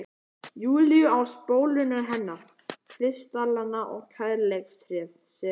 Júlíu, á spólurnar hennar, kristallana og kærleikstréð sem